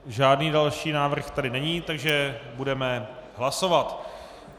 Žádný další návrh tady není, takže budeme hlasovat.